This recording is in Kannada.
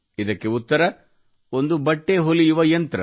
ಇದಕ್ಕೆ ಉತ್ತರ ಒಂದು ಬಟ್ಟೆ ಹೊಲಿಯುವ ಯಂತ್ರ